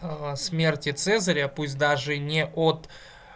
смерти цезаря пусть даже не от